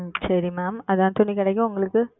உம் சரி Ma'am அதான் துணிக்கடைக்கு உங்களுக்கு